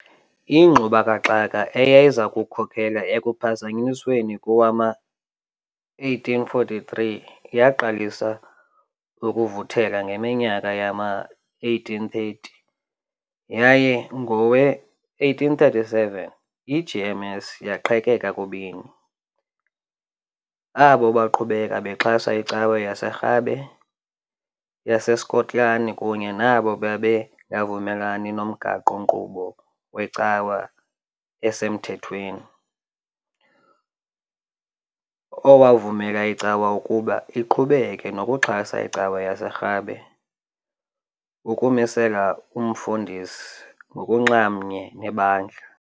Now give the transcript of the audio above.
Ingxubakaxaka eyayiza kukhokelela ekuPhazanyisweni kowama1843 yaqalisa ukuvuthela ngeminyaka yama1830, yaye ngowe-1837 iGMS yaqhekeka kubini, abo baqhubeka bexhasa iCawa yaseRhabe yaseSkotlani kunye nabo babengavumelani nomgaqo-nkqubo weCawa osemthethweni, owavumela icawa ukuba iqhubeke nokuxhasa iCawa yaseRhabe, ukumisela umfundisi ngokunxamnye nebandla.